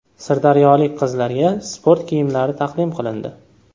Sirdaryolik qizlarga sport kiyimlari taqdim qilindi.